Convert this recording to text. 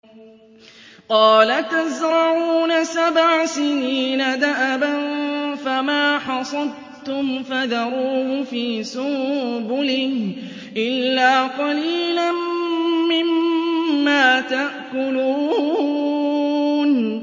قَالَ تَزْرَعُونَ سَبْعَ سِنِينَ دَأَبًا فَمَا حَصَدتُّمْ فَذَرُوهُ فِي سُنبُلِهِ إِلَّا قَلِيلًا مِّمَّا تَأْكُلُونَ